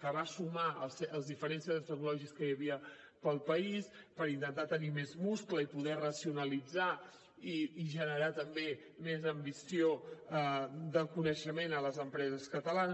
que va sumar els diferents centres tecnològics que hi havia pel país per intentar tenir més múscul i poder racionalitzar i generar també més ambició de coneixement en les empreses catalanes